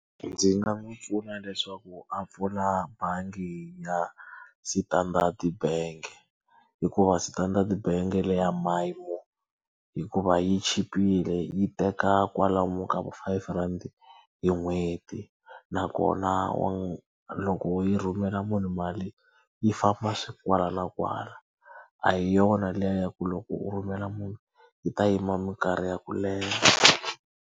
Ndzi nga n'wi pfuna leswaku a pfula bangi ya Standard Bank hikuva Standard Bank leya hikuva yi chipile yi teka kwalomu ka five rhandi hi n'hweti nakona loko yi rhumela munhu mali yi famba kwala na kwala, a hi yona liya ya ku loko u rhumela munhu yi ta yima minkarhi ya ku leha.